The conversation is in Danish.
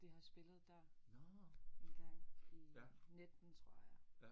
De har spillet dér engang i 19 tror jeg